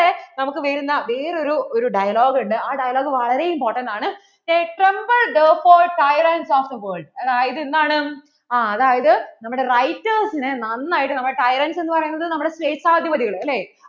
നമുക്ക് വരുന്ന വേറെ ഒരു dialogue ഉണ്ട് ആ dialogue വളരെ important ആണ് a tremlbe therefore tyrents of the world അത് എന്താണ് അതായത് നമ്മടെ writers നെ നന്നായിട്ട് നമ്മൾ tyrants എന്ന് പറയുന്നത് ശേഷാധിപതികൾ അല്ലേ